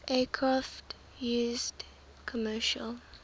aircraft used commercial